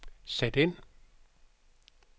sæt ind